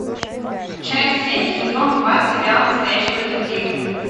часть семь сезон два сериал настоящий детектив